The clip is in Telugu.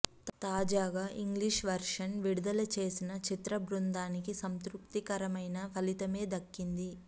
తాజాగా ఇంగ్లీష్ వెర్షన్ విడుదల చేసిన చిత్ర బృందానికి సంతృప్తికరమైన అలితమే దక్కింది